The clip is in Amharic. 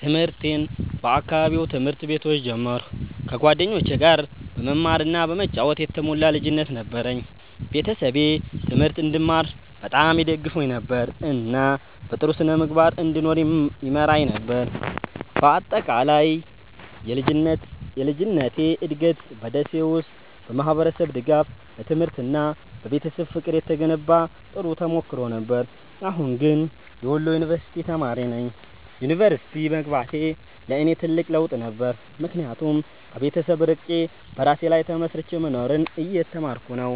ትምህርቴን በአካባቢው ትምህርት ቤቶች ጀመርኩ፣ ከጓደኞቼ ጋር በመማር እና በመጫወት የተሞላ ልጅነት ነበረኝ። ቤተሰቤ ትምህርት እንድማር በጣም ይደግፉኝ ነበር፣ እና በጥሩ ስነ-ምግባር እንድኖር ይመራኝ ነበር። በአጠቃላይ የልጅነቴ እድገት በ ደሴ ውስጥ በማህበረሰብ ድጋፍ፣ በትምህርት እና በቤተሰብ ፍቅር የተገነባ ጥሩ ተሞክሮ ነበር። አሁን ግን የወሎ ዩንቨርስቲ ተማሪ ነኝ። ዩኒቨርሲቲ መግባቴ ለእኔ ትልቅ ለውጥ ነበር፣ ምክንያቱም ከቤተሰብ ርቄ በራሴ ላይ ተመስርቼ መኖርን እየተማርኩ ነው።